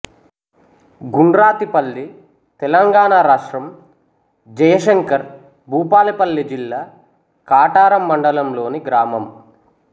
గుండ్రాతిపల్లి తెలంగాణ రాష్ట్రం జయశంకర్ భూపాలపల్లి జిల్లా కాటారం మండలంలోని గ్రామం